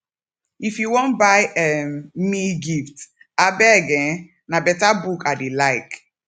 if you wan buy um me gift abeg um na beta book i dey like